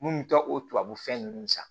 Mun mi taa o tubabu fɛn ninnu san